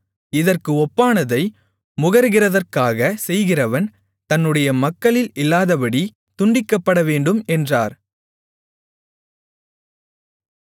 இதற்கு ஒப்பானதை முகருகிறதற்காகச் செய்கிறவன் தன்னுடைய மக்களில் இல்லாதபடி துண்டிக்கப்படவேண்டும் என்றார்